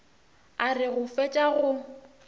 a re go fetša go